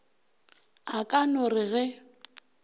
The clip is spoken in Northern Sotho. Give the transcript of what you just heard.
a ka no re ge